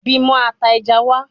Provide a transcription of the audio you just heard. Bimo ata eja wa